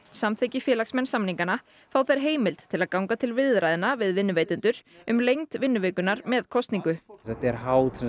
samþykki félagsmenn samningana fá þeir heimild til að ganga til viðræðna við vinnuveitendur um lengd vinnuvikunnar með kosningu þetta er háð